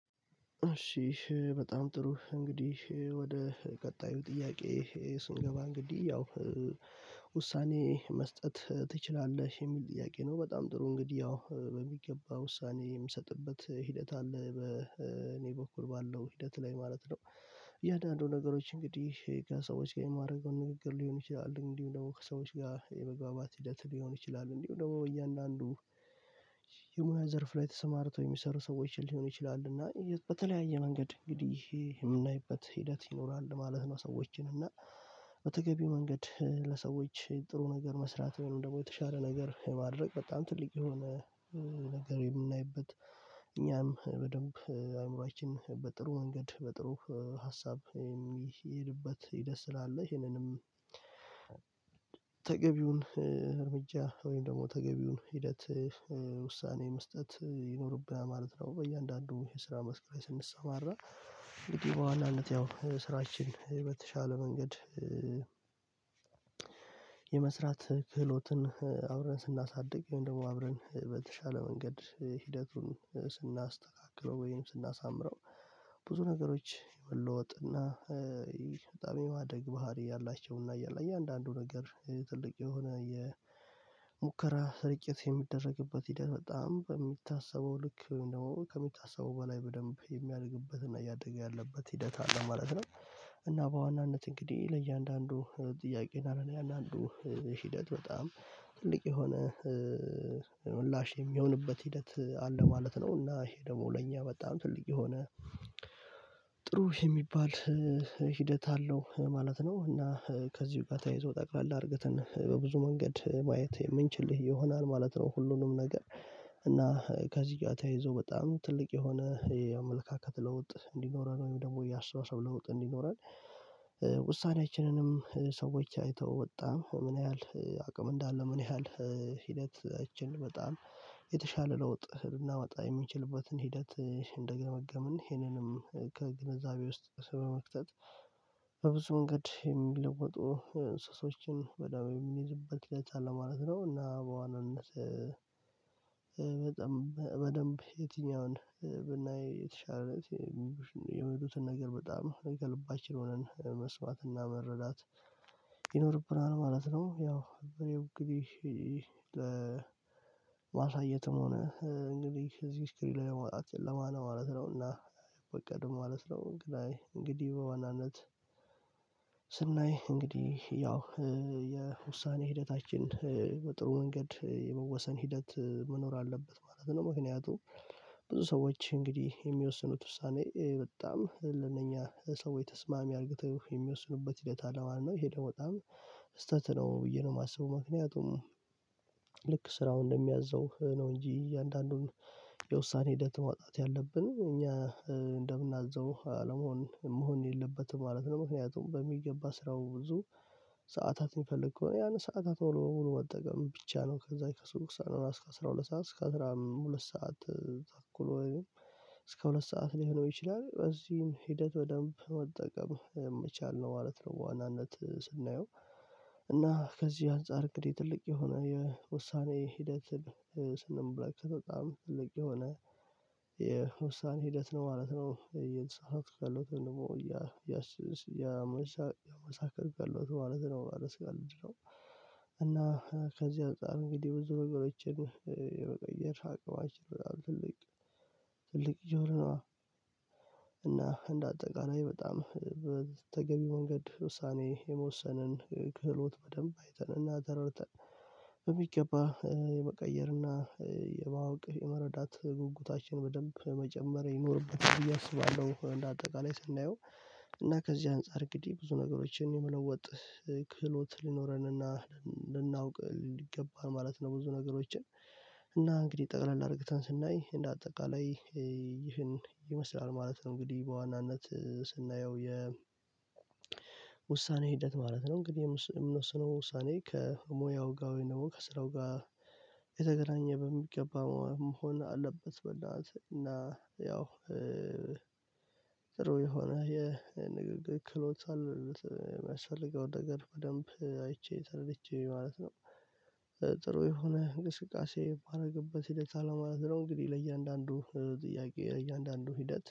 እሺ በጣም ጥሩ እንግዲህ ወደ ቀጣዩ ጥያቄ ስንገባ እንግዲህ ያው ውሳኔ መስጠት ትችላለህ? የሚል ጥያቄ ነው በጣም ጥሩ እንግዲህ ያው በሚገባ ውሳኔ የምሰጥበት ሂደት አለ በ እኔ በኩል ባለው ሂደት ላይ ማለት ነው። እያንዳንዱ ነገሮች እንግዲህ ከሰዎች ጋር የማደርገውን ንግግር ሊሆን ይችላል እንዲሁ ደግሞ ከሰዎች ጋር የመግባባት ሂደት ሊሆን ይችላል እንዲሁ ደግሞ በእያንዳንዱ የሙያ ዘርፍ ላይ ተሰማርቶ የሚሰሩ ሰዎችን ሊሆን ይችላል እና በተለያየ መንገድ እንግዲህ የምናይበት ሂደት ይኖራል ማለት ነው። ሰዎችን እና በተገቢው መንገድ ጥሩ ነገር መስራት ወይም ደግሞ የተሻለ ነገር የማድረግ በጣም ትልቅ የሆነ ነገር የምናይበት እኛም በደንብ አእምሮአችን በጥሩ ወንገድ በጥሩ ሀሳብ የሚሄድበት ደስ ትላለህ ይሄንንም ተገቢውን እርምጃ ወይም ደግሞ ተገቢውን ሂደት ውሳኔ መስጠት ይኖርብናል ማለት ነው። በእያንዳንዱ የስራ መስክራች ስንሰማራ እንግዲህ በኋላነት ያው ስራችን የተሻለ መንገድ የመስራት ክህሎትን አብረን ስናሳድግ ወይም ደግሞ አብረን በተሻለ መንገድ ሂደቱን ስናስተካክለው ወይም ስናሳምረው ብዙ ነገሮች የመለወጥና በጣም የማደግ ባህሪ ያላቸውና እያለ እያንዳንዱ ነገር ትልቅ የሆነ የሙከራ ስርጭት የሚደረግበት ሂደት በጣም በሚታሰበው ልክ ነው ከሚታሰበው በላይ በደንብ የሚያድግበትና እያደገ ያለበት ሂደት አለ ማለት ነው። እና በዋናነት እንግዲህ ለእያንዳንዱ ጥያቄ እና ለእያንዳንዱ ሂደት በጣም ትልቅ የሆነ ምላሽ የሚሆንበት ሂደት አለ ማለት ነው። እና ይሄ ደግሞ ለእኛ በጣም ትልቅ የሆነ ጥሩ የሚባል ሂደት አለው ማለት ነው። እና ከዚህ በፊት ተይዞ ጠቅላላ እድገትን በብዙ መንገድ ማየት የምንችል ይሆናል ማለት ነው። ሁሉንም ነገር እና ከዚህ ጋር ተያይዞ በጣም ትልቅ የሆነ የአመለካከት ለውጥ እንዲኖረን ወይም ደግሞ የአስተዋሳሰብ ለውጥ እንዲኖረን ውሳኔያችንንም ሰዎች አይተው ወጣ ምን ያህል አቅም እንዳለ ምን ያህል ሂደታችን በጣም የተሻለ ለውጥ ልናመጣ የሚችልበትን ሂደት እንደገመገምን ይህንንም ከግንዛቤ ውስጥ በመክተት በብዙ መንገድ የሚለውጡ እንስሶችን ወይም የሚይዝበት ብልጫ ለማለት ነው። እና በዋናነት በደንብ የትኛውን ብናይ የተሻለ የሚሉትን ነገር በጣም እንደልባችን ሆነን መስዋዕትና መረዳት ይኖርብናል ማለት ነው። ያው እኔ እንግዲህ ለማሳየትም ሆነ እንግዲህ እዚህ ስኪል ለመውጣት ለማን ማለት ነውና በቀድሞ ማለት ነው። እንግዲህ በዋናነት ስናይ እንግዲህ ያው የውሳኔ ሂደታችን በጥሩ መንገድ የመወሰን ሂደት መኖር አለበት ማለት ነው። ምክንያቱም ብዙ ሰዎች እንግዲህ የሚወስኑት ውሳኔ በጣም ለነኛ ሰው የተስማሚ አርግተው የሚወስኑበት ሂደት አለው ማለት ነው። ሄደው በጣም ስህተት ነው ብዬ ነው የማስበው ምክንያቱም ስራው እንደሚያዘው ነው እንጂ እያንዳንዱን የውሳኔ ሂደት ማውጣት ያለብን እኛ እንደምናዘው አለመሆን መሆን የለበትም ማለት ነው። ምክንያቱም በሚገባ ስራው ብዙ የሚፈልግ ከሆነ ያንን ሰዓታት በሙሉ በሙሉ መጠቀም ብቻ ነው ከዛ ከስሩ ሳንኖራ እስከ አስራ ሁለት ሰዓት እስከ አስራ ሁለት ሰዓት ተኩል ወይንም እስከ ሁለት ሰዓት ሊሆን ይችላል በዚህም ሂደት በደንብ መጠቀም የምቻል ነው ማለት ነው። ዋናነት ስናየው እና ከዚህ አንፃር እንግዲህ ትልቅ የሆነ የውሳኔ ሂደት ስንመለከት በጣም ትልቅ የሆነ የውሳኔ ሂደት ነው ማለት ነው። ይህን ሰዓት ካለው ደግሞ ያ ያ ያመሳ ያመሳከርካለሁት ማለት ነው። ያመሳከርካለሁት እና ከዚህ አንፃር እንግዲህ ብዙ ነገሮችን የመቀየር ሀቅባችን ትልቅ ትልቅ ይቻላል። እና እንደ አጠቃላይ በጣም በተገቢ መንገድ ውሳኔ የመወሰንን ክህሎት በደንብ አይተንና ተረድተን በሚገባ የመቀየርና የማወቅ የመረዳት ጉጉታችን በደንብ መጨመር ይኖርበታል ብዬ አስባለሁ። እንደ አጠቃላይ ስናየው እና ከዚህ አንፃር እንግዲህ ብዙ ነገሮችን የሚለወጥ ክህሎት ሊኖረንና ልናውቅ ይገባል ማለት ነው። ብዙ ነገሮችን እና እንግዲህ ጠቅላላ እርግተን ስናይ እንደ አጠቃላይ ይህን ይመስላል ማለት ነው። እንግዲህ በዋናነት ስናየው የ የውሳኔ ሂደት ማለት ነው። እንግዲህ የምንወስነው ውሳኔ ከሙያው ጋር ወይንም ከስራው ጋር የተገናኘ በሚገባ መሆን አለበት። በዛ ሰዓት እና ያው ጥሩ የሆነ የንግግር ክህሎት የሚያስፈልገው ነገር በደንብ አይቼ ተረድቼ ማለት ነው። ጥሩ የሆነ እንቅስቃሴ ባደረገበት ሂደት አለ ማለት ነው። እንግዲህ ለእያንዳንዱ ጥያቄ ለእያንዳንዱ ሂደት